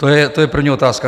To je první otázka.